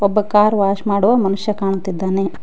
ಒಬ್ಬ car wash ಮಾಡುವ ಮನುಷ್ಯ ಕಾಣುತ್ತಿದ್ದಾನೆ.